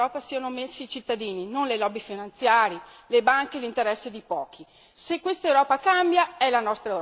Vogliamo che al centro di quest'Europa siano messi i cittadini, non le lobby finanziarie, le banche e gli interessi di pochi.